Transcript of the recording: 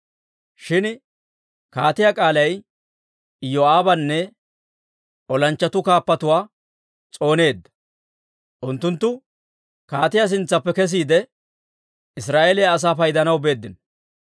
Shin kaatiyaa k'aalay Iyoo'aabanne olanchchatuu kaappatuwaa s'ooneedda. Unttunttu kaatiyaa sintsaappe kesiide, Israa'eeliyaa asaa paydanaw beeddino.